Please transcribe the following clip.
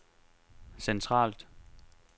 centralt